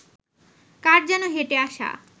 কার যেন হেঁটে আসা